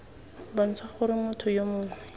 bontsha gore motho yo mongwe